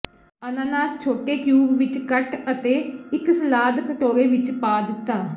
ਅਨਾਨਾਸ ਛੋਟੇ ਕਿਊਬ ਵਿੱਚ ਕੱਟ ਅਤੇ ਇੱਕ ਸਲਾਦ ਕਟੋਰੇ ਵਿੱਚ ਪਾ ਦਿੱਤਾ